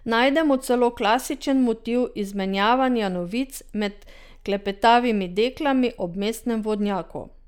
Najdemo celo klasičen motiv izmenjavanja novic med klepetavimi deklami ob mestnem vodnjaku.